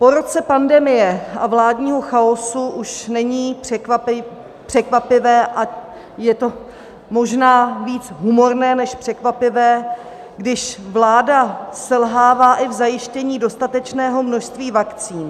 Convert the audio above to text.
Po roce pandemie a vládního chaosu už není překvapivé - a je to možná více humorné, než překvapivé - když vláda selhává i v zajištění dostatečného množství vakcín.